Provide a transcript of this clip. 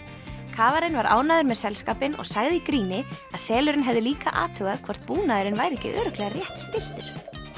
kafarinn var ánægður með selskapinn og sagði í gríni að selurinn hefði líka athugað hvort búnaðurinn væri ekki örugglega rétt stilltur